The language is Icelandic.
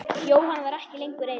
Jóhann var ekki lengur reiður.